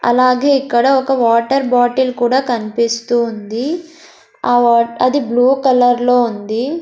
అలాగే ఇక్కడ ఒక వాటర్ బాటిల్ కూడా కనిపిస్తువుంది ఆ వాట్ అది బ్లూ కలర్ లో ఉంది.